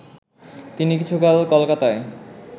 তিনি কিছুকাল কলকাতায়